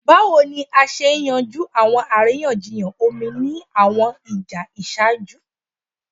Bawo ni a ṣe yanju awọn ariyanjiyan omi ni awọn ija iṣaaju?